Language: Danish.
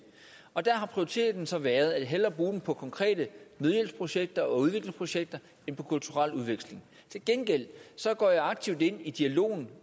og der har prioriteten så været hellere at bruge dem på konkrete nødhjælpsprojekter og udviklingsprojekter end på kulturel udveksling til gengæld går jeg aktivt ind i dialogen